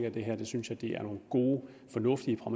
i det her synes jeg det er nogle gode fornuftige og